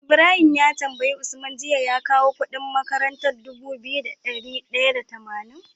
Ibrahim ka tambayi usman jiya ya kawo Ƙudin makarantar Dubu biyu da dari daya da tamanin